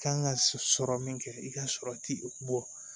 Kan ka sɔrɔ min kɛ i ka sɔrɔ ti e bɔ